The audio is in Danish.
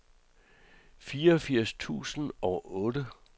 fireogfirs tusind og otte